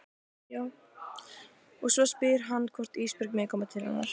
Og hún spyr hann hvort Ísbjörg megi koma til hennar.